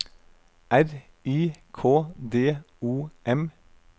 R I K D O M